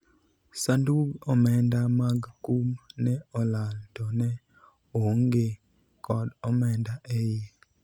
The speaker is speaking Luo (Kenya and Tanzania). sandug omenda mag kum ne olal to ne oonge kod omenda e iye